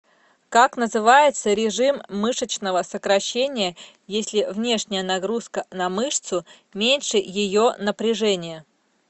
как называется режим мышечного сокращения если внешняя нагрузка на мышцу меньше ее напряжения